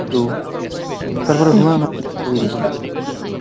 তারপরে হুমায়ুন আহমেদের ছবি